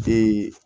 De